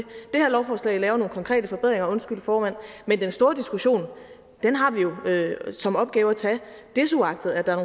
det her lovforslag laver nogle konkrete forbedringer undskyld formand men den store diskussion har vi jo som opgave at tage desuagtet at der er